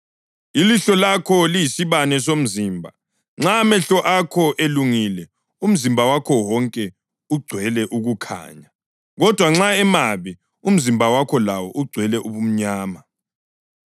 Ilihlo lakho liyisibane somzimba. Nxa amehlo akho elungile umzimba wakho wonke ugcwele ukukhanya. Kodwa nxa emabi, umzimba wakho lawo ugcwele ubumnyama.